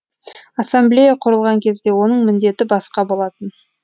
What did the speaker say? ассамблея құрылған кезде оның міндеті басқа болатын